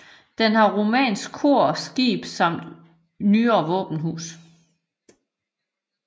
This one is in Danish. Den har romansk kor og skib samt nyere våbenhus